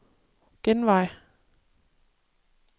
genvej